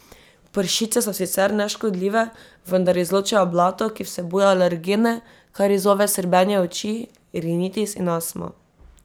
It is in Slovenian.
Pršice so sicer neškodljive, vendar izločajo blato, ki vsebuje alergene, kar izzove srbenje oči, rinitis in astmo.